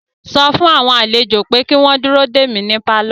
Sọ fún àwọn àlejò pé kí wọ́n dúró dè mí ní pálọ̀